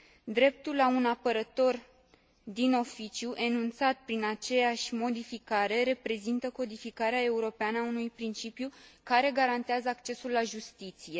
Dreptul la un apărător din oficiu, enunțat prin aceeași modificare, reprezintă codificarea europeană a unui principiu care garantează accesul la justiție.